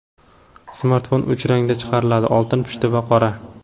Smartfon uch rangda chiqariladi: oltin, pushti va qora.